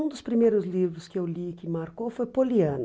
Um dos primeiros livros que eu li que marcou foi Poliana.